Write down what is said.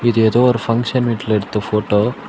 ஏதோ ஒரு பங்க்ஷன் வீட்ல எடுத்த ஃபோட்டோ .